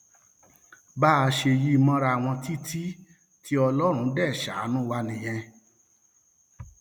bá a ṣe yí i mọra wọn títí tí ọlọrun dé sáànù wa nìyẹn